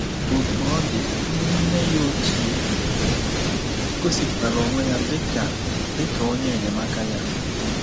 Otú ọ dị, nne ya ochie gosipụtara onwe ya dị ka dị ka onye enyemaka ya.